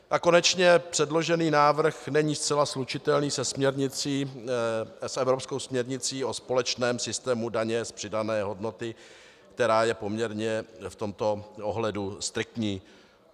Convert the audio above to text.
A konečně předložený návrh není zcela slučitelný s evropskou směrnicí o společném systému daně z přidané hodnoty, která je poměrně v tomto ohledu striktní.